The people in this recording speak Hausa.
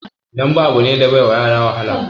Dambe abu ne da bai wa yara wahala